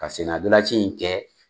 Ka senna ndolaci in kɛ.